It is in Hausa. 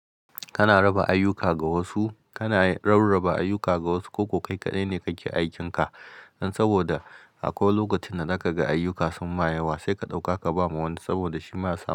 Kana raba ayyuka ga wasu, kana rarraba ayyuka ga wasu ko kai kaɗai ne kake aikinka. Saboda akwai lokacin da zaka ga ayyuka sunma yawa sai ka ɗauka ka bama wa wani saboda shi ma suna.